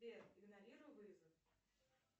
сбер игнорируй вызов